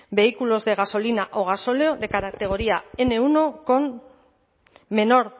vehículos de gasolina o gasóleo de categoría ene uno